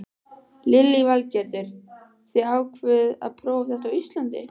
Lillý Valgerður: Þið ákváðuð að prófa þetta á Íslandi?